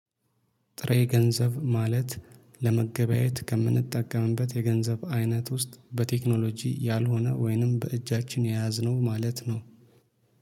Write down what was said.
ጥሬ ገንዘብ ማለት ለመገበያየት ከምንጠቀምበት የገንዘብ አይነት ውስጥ በቴክኖሎጂ ያልሆነ ወይንም በእጃችን የያዝነው ማለት ነው።